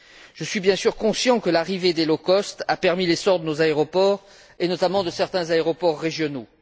Je suis, bien sûr, conscient que l'arrivée des low cost a permis l'essor de nos aéroports et, notamment, de certains aéroports régionaux.